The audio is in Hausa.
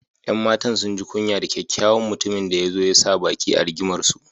’Yan matan sun ji kunya da kyakyawan mutumin da ya zo ya sa baki a rigimarsu.